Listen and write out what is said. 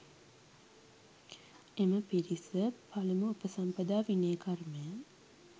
එම පිරිස පළමු උපසම්පදා විනය කර්මය